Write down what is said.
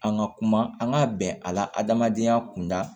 An ka kuma an ka bɛn a la adamadenya kunda